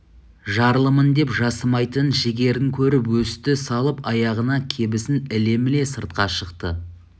жарлымын деп жасымайтын жігерін көріп өсті салып аяғына кебісін іле-міле сыртқа шықты